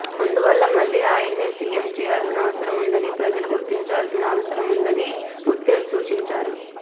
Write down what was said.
అందువల్ల మళ్లీ ఆయన్నే సీఎం చేయాల్సిన అవసరం ఉందని ప్రజలు గుర్తించాల్సిన అవసరం ఉందని ఉత్తేజ్ సూచించారు